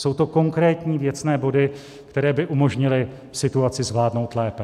Jsou to konkrétní, věcné body, které by umožnily situaci vládnout lépe.